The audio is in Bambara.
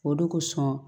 O de kosɔn